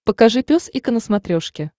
покажи пес и ко на смотрешке